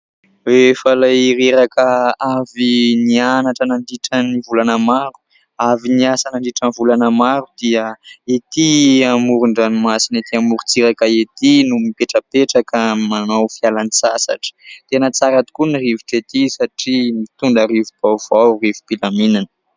Rehefa ilay reraka avy nianatra nandritra ny volana maro, avy niasa nandritra ny volana maro dia etỳ amoron-dranomasina etỳ amorontsiraka etỳ no mipetrapetraka manao fialan-tsasatra. Tena tsara tokoa ny rivotra etỳ satria mitondra rivo-baovao, rivo-pilaminana.